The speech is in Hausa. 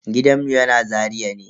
Gidanmu yana Zaria ne.